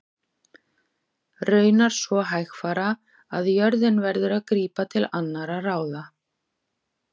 Raunar svo hægfara að jörðin verður að grípa til annarra ráða.